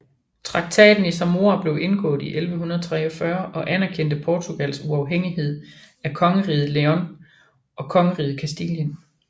Traktaten i Zamora blev indgået i 1143 og anerkendte Portugals uafhængighed af Kongeriget León og Kongeriget Castilien